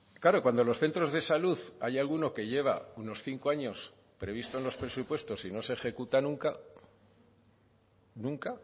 claro cuando los centros de salud hay alguno que lleva unos cinco años previsto en los presupuestos y no se ejecuta nunca nunca